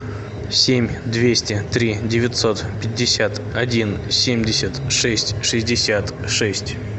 семь двести три девятьсот пятьдесят один семьдесят шесть шестьдесят шесть